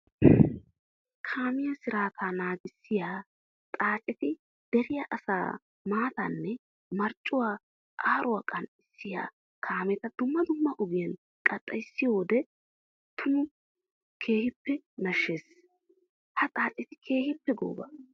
Kaamiya sirata naagissiya xaacetti deriya asaa maatanne marccuwa aaruwa kanxxissiya kaametta dumma dumma ogiyan qaxxayissiyodde tuma keehippe nashisees. Ha xaacetti keehippe gooba.